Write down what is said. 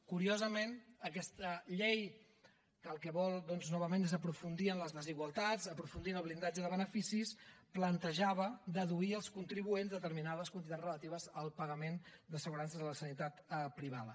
curiosament aquesta llei que el que vol doncs novament és aprofundir en les desigualtats aprofundir en el blindatge de beneficis plantejava deduir als contribuents determinades quantitats relatives al pagament d’assegurances a la sanitat privada